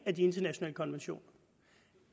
af de internationale konventioner